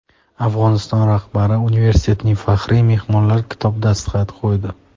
Afg‘oniston rahbari universitetning Faxriy mehmonlar kitobiga dastxat qo‘ydi.